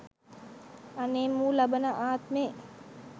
අනේ මූ ලබන ආත්මෙ